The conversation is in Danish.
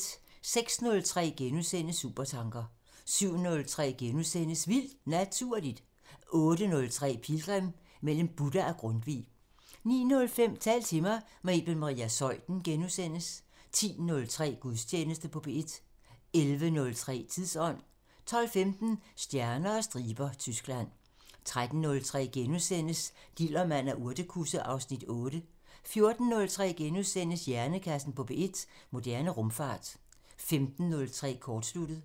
06:03: Supertanker * 07:03: Vildt Naturligt * 08:03: Pilgrim – Mellem Buddha og Grundtvig 09:05: Tal til mig – med Iben Maria Zeuthen * 10:03: Gudstjeneste på P1 11:03: Tidsånd 12:15: Stjerner og striber – Tyskland 13:03: Dillermand og urtekusse (Afs. 8)* 14:03: Hjernekassen på P1: Moderne rumfart * 15:03: Kortsluttet